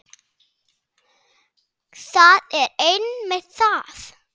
Það er einmitt það!